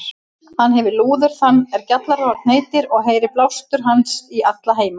Hann hefir lúður þann er Gjallarhorn heitir, og heyrir blástur hans í alla heima.